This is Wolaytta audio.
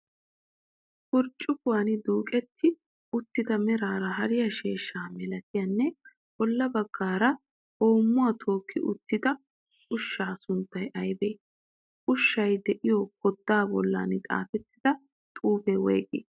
Burccukuwan duuqetti uttida meraara hariyaa sheeshshaa malatiyaanne bolla baggaara hoommuwaa tookki uttida ushshaa sunttayi aybee? ushshay de'iyoo koddaa bollan xaafettida xuufee woyigii?